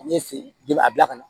Ne fe yen a bila ka na